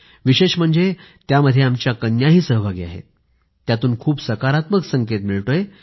विशेष म्हणजे त्यामध्ये आमच्या कन्याही सहभागी आहेत यातून खूप सकारात्मक संकेत मिळतोय